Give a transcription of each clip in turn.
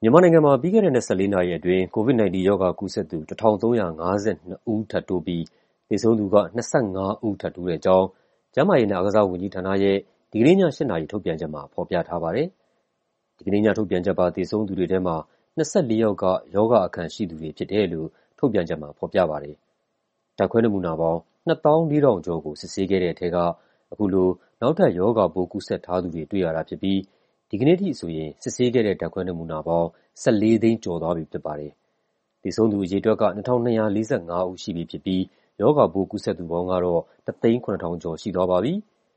မြန်မာနိုင်ငံမှာ ပြီးခဲ့တဲ့ ၂၄ နာရီအတွင်း COVID-19 ရောဂါကူးစက်သူ ၁,၃၅၂ ဦး ထပ်တိုးပြီး သေဆုံးသူက ၂၅ ဦး ထပ်တိုးတဲ့အကြောင်း ကျန်းမာရေးနဲ့ အားကစားဝန်ကြီးဌာနရဲ့ ဒီကနေ့ည ၈ နာရီ ထုတ်ပြန်ချက်မှာ ဖော်ပြထားပါတယ်။ ဒီကနေ့ည ထုတ်ပြန်ချက်ပါ သေဆုံးသူတွေထဲမှာ ၂၄ ယောက်က ရောဂါအခံရှိသူတွေ ဖြစ်တယ်လို့ ထုတ်ပြန်ချက်မှာ ဖော်ပြထားပါတယ်။ ဓာတ်ခွဲနမူနာပေါင်း ၂၄,၀၉၉ ခုကို စစ်ဆေးခဲ့တဲ့ထဲက အခုလို နောက်ထပ် ရောဂါပိုး ကူးစက်ထားသူတွေ တွေ့ရတာဖြစ်ပြီး ဒီကနေ့အထိဆိုရင် စစ်ဆေးခဲ့တဲ့ ဓာတ်ခွဲနမူနာပေါင်း ၁,၄၁၉,၁၈၇ ခု ရှိသွားပြီဖြစ်ပါတယ်။ သေဆုံးသူအရေအတွက်က ၂,၂၄၅ ဦး ရှိပြီဖြစ်ပြီး ရောဂါပိုး ကူးစက်သူပေါင်းကတော့ ၁၀၇,၂၁၅ ဦး ရှိသွားပါပြီ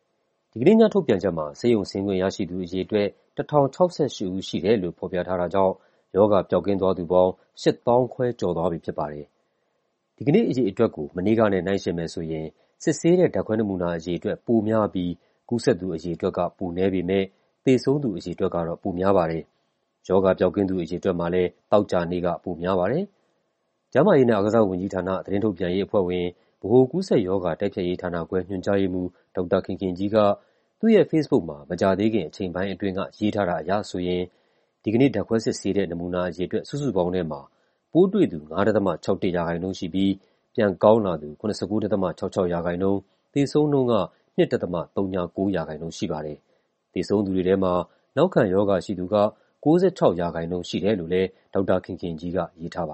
။ ဒီကနေ့ည ထုတ်ပြန်ချက်မှာ ဆေးရုံဆင်းခွင့်ရရှိသူ အရေအတွက် ၁,၀၆၈ ဦးရှိတယ်လို့ ဖော်ပြထားတာကြောင့် ရောဂါပျောက်ကင်းသွားသူပေါင်း ၈၅,၄၀၆ ဦး ရှိသွားပြီဖြစ်ပါတယ်။ ဒီကနေ့အရေအတွက်ကို မနေ့ကနဲ့ နှိုင်းယှဉ်မယ်ဆိုရင် စစ်ဆေးတဲ့ ဓာတ်ခွဲနမူနာအရေအတွက် ပိုများပြီး ကူးစက်သူအရေအတွက်က ပိုနည်းပေမယ့် သေဆုံးသူအရေအတွက်ကတော့ ပိုများပါတယ်။ ရောဂါပျောက်ကင်းသူ အရေအတွက်မှာလည်း သောကြာနေ့က ပိုများပါတယ်။ ကျန်းမာရေးနဲ့ အားကစားဝန်ကြီးဌာန၊ သတင်းထုတ်ပြန်ရေးအဖွဲ့ဝင်၊ ဗဟိုကူးစက်ရောဂါ တိုက်ဖျက်ရေးဌာနခွဲ ညွှန်ကြားရေးမှူး ဒေါက်တာခင်ခင်ကြီးက သူ့ရဲ့ဖေ့စ်ဘုတ်မှာ မကြာသေးခင် အချိန်ပိုင်းအတွင်းက ရေးထားတာအရဆိုရင် ဒီကနေ့ ဓာတ်ခွဲစစ်ဆေးတဲ့ နမူနာအရေအတွက် စုစုပေါင်းထဲမှာ ပိုးတွေ့သူ ၅.၆၁ ရာခိုင်နှုန်းရှိပြီး ပြန်ကောင်းလာသူ ၇၉.၆၆ ရာခိုင်နှုန်း၊ သေဆုံးနှုန်းက ၂.၀၉ ရာခိုင်နှုန်း ရှိပါတယ်။ သေဆုံးသူတွေထဲမှာ နောက်ခံရောဂါရှိသူက ၉၆ ရာခိုင်နှုန်း ရှိတယ်လို့လည်း ဒေါက်တာခင်ခင်ကြီးက ရေးထားပါ